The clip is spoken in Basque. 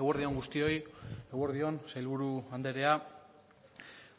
eguerdi on guztioi eguerdi on sailburu andrea